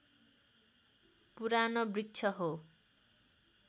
पुरानो वृक्ष हो